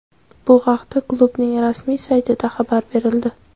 Bu haqda klubning rasmiy saytida xabar berildi.